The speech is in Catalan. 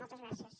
moltes gràcies